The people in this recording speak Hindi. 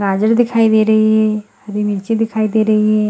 गाजर दिखाई दे रही है हरी मिर्ची दिखाई दे रही है ।